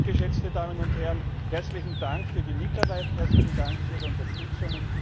hat. Deshalb, geschätzte Damen und Herren, herzlichen Dank für die Mitarbeit, herzlichen Dank für Ihre Unterstützung.